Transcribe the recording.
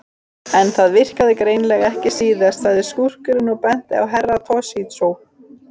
En það virkaði greinilega ekki síðast, sagði skúrkurinn og benti á Herra Toshizo.